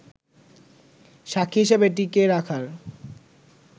সাক্ষী হিসেবে টিকিয়ে রাখার